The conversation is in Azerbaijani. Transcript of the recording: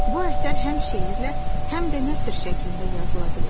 Bu əsər həm şeirlə, həm də nəsr şəklində yazıla bilər.